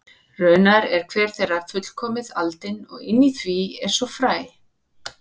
Raunar er hver þeirra fullkomið aldin og inni í því er svo fræ.